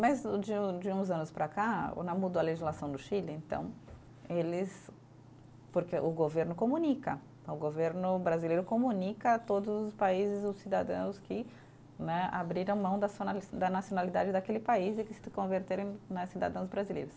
Mas de um de uns anos para cá, não mudou a legislação do Chile, então eles, porque o governo comunica, o governo brasileiro comunica a todos os países, os cidadãos que né abriram mão da sua na, da nacionalidade daquele país e que se converteram né cidadãos brasileiros.